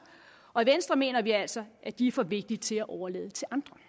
og i venstre mener vi altså at de er for vigtige til at overlade til andre